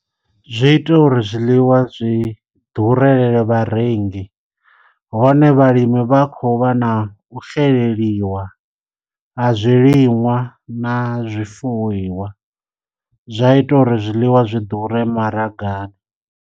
Zwi ita uri zwiḽiwa zwi ḓurele vharengi, hone vhalimi vha khou vha na u xeleliwa ha zwi liṅwa na zwifuiwa, zwa ita uri zwiḽiwa zwi ḓure maragani.